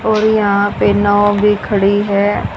और यहां पे नव भी खड़ी है।